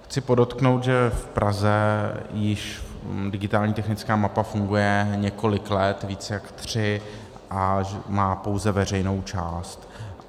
Chci podotknout, že v Praze již digitální technická mapa funguje několik let, víc jak tři, a má pouze veřejnou část.